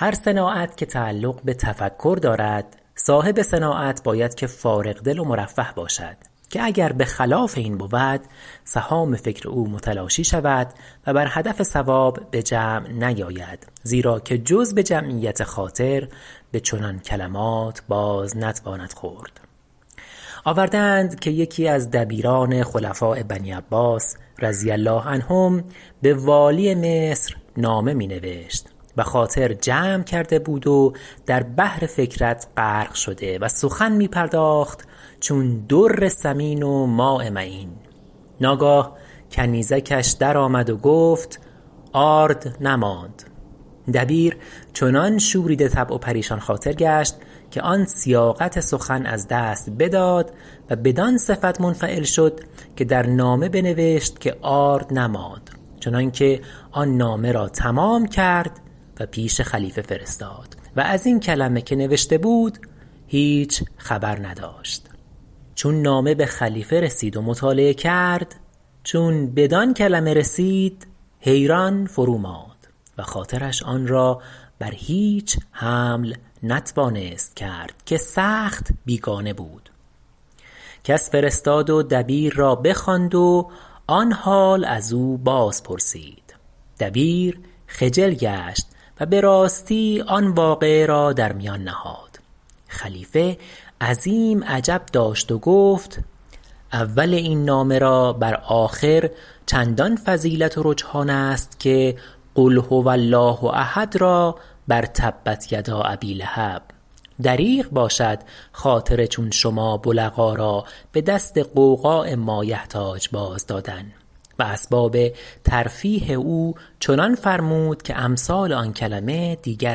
هر صناعت که تعلق بتفکر دارد صاحب صناعت باید که فارغ دل و مرفه باشد که اگر بخلاف این بود سهام فکر او متلاشی شود و بر هدف صواب بجمع نیاید زیرا که جز بجمعیت خاطر بچنان کلمات باز نتواند خورد آورده اند که یکی از دبیران خلفاء بنی عباس رضی الله عنهم به والی مصر نامه ای می نوشت و خاطر جمع کرده بود و در بحر فکرت غرق شده و سخن می پرداخت چون در ثمین و ماء معین ناگاه کنیزکش درآمد و گفت آرد نماند دبیر چنان شوریده طبع و پریشان خاطر گشت که آن سیاقت سخن از دست بداد و بدان صفت منفعل شد که در نامه بنوشت که آرد نماند چنانکه آن نامه را تمام کرد و پیش خلیفه فرستاد و ازین کلمه که نوشته بود هیچ خبر نداشت چون نامه بخلیفه رسید و مطالعه کرد چون بدان کلمه رسید حیران فرو ماند و خاطرش آنرا بر هیچ حمل نتوانست کرد که سخت بیگانه بود کس فرستاد و دبیر را بخواند و آن حال ازو باز پرسید دبیر خجل گشت و براستی آن واقعه را در میان نهاد خلیفه عظیم عجب داشت و گفت اول این نامه را بر آخر چندان فضیلت و رجحان است که قل هو الله احد را بر تبت یدا ابی لهب دریغ باشد خاطر چون شما بلغا را بدست غوغاء مایحتاج باز دادن و اسباب ترفیه او چنان فرمود که امثال آن کلمه دیگر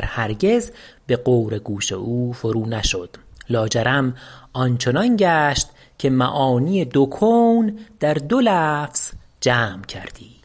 هرگز بغور گوش او فرو نشد لا جرم آنچنان گشت که معانی دو کون در دو لفظ جمع کردی